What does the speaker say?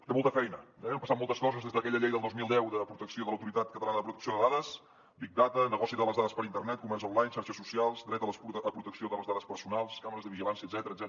té molta feina eh han passat moltes coses des d’aquella llei del dos mil deu de protecció de l’autoritat catalana de protecció de dades big dataper internet comerç online xarxes socials dret a protecció de les dades personals càmeres de vigilància etcètera